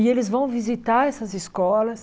E eles vão visitar essas escolas.